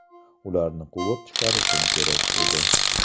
Ularni quvib chiqarishim kerak edi.